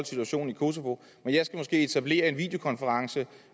situationen i kosovo men jeg skal måske etablere en videokonference